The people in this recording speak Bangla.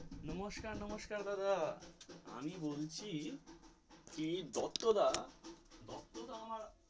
নমস্কার নমস্কার দাদা, আমি বলছি এই দত্তদা দত্তদা আমার.